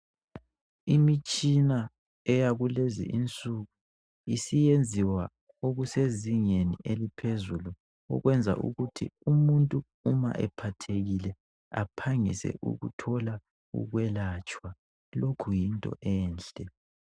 Imitshina eyakulezi insuku isiyenziwa okusezingeni eliphezulu okwenza ukuthi umuntu uma ephathekile aphangise ukuthola ukwelatshwa lokhu yinto enhle.